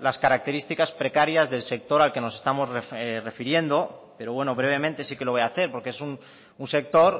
las características precarias del sector al que nos estamos refiriendo pero bueno brevemente sí que lo voy a hacer porque es un sector